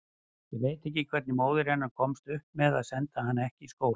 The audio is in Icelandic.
Ég veit ekki hvernig móðir hennar komst upp með að senda hana ekki í skóla.